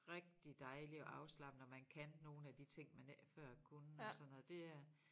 Rigtig dejligt og afslappende at man kan nogle af de ting man ikke før kunne og sådan noget det er